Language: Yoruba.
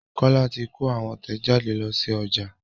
Kola tí kò àwọn tẹjade ló sí ọjà